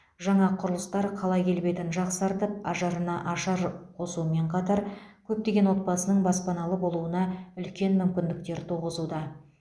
жаңа құрылыстар қала келбетін жақсартып ажарына ажар қосумен қатар көптеген отбасының баспаналы болуына үлкен мүмкіндіктер туғызуда